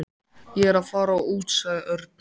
Ég er að fara út sagði Örn.